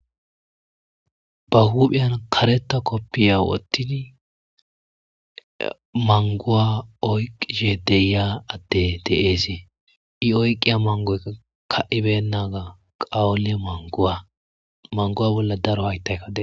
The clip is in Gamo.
Ba huphiyan karetta kopita wottidi manguwa oyqishe deiya addey de'es ii oyqiya mangoyikka ka'i beynagga qawule mangguwa manguwa bollakka daro hayttayikka de'es